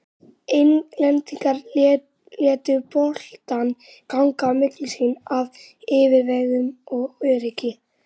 Englendingar létu boltann ganga á milli sín af yfirvegun og öryggi.